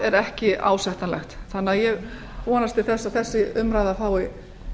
er ekki ásættanlegt þannig að ég vonast til þess að þessi umræða fái